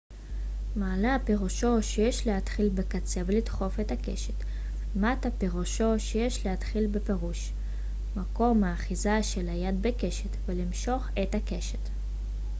מעלה פירושו שיש להתחיל בקצה ולדחוף את הקשת ומטה פירושו שיש להתחיל בפרוש מקום האחיזה של היד בקשת ולמשוך את הקשת